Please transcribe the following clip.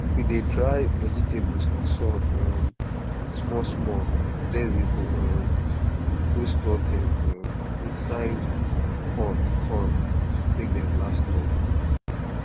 we dey dry vegetables for sun um small small then we um go store dem um inside con con make dem last longer